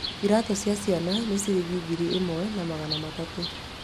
Iraatũ cia ciana nĩ ciringi ngiri ĩmwe na magana matatũ